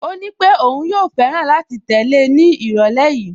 Ó nípé òun yóò fẹ́ràn láti tẹ̀lé ní ìrọ̀lẹ́ yìí